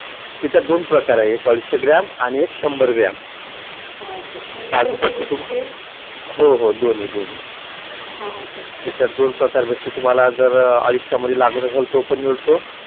त्याचे दोन प्रकार आहेत एक अडीचशे ग्रॅम आणि एक शंभर ग्रॅम काजुकतली हो हो दोन्ही दोन्ही हां याच्यात दोन प्रकार मिळतील तुम्हाला अडीचशे मध्ये लागत असेल तर तो पण मिळतो